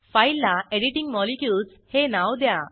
फाईलला editing molecules हे नाव द्या